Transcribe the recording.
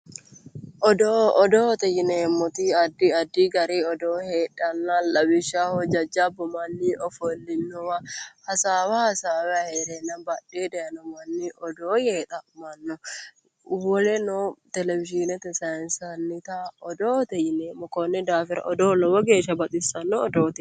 Odoo, odoote yineemmoti addi addi gari odoo heedhano lawishshaho jajjabbu ofollinowa hasaawa hasaawani heerenna badheni hige daaye odoo yee xa'mano, woleno Televishinete saynsannitta odoote yineemmo konni daafira odoo lowo geeshsha baxisano odooti.